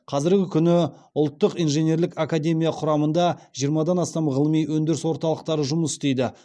қазіргі күні ұлттық инженерлік академия құрамында жиырмадан астам ғылыми өндіріс орталықтары жұмыс істейді